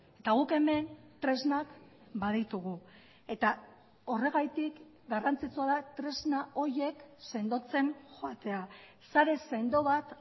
eta guk hemen tresnak baditugu eta horregatik garrantzitsua da tresna horiek sendotzen joatea sare sendo bat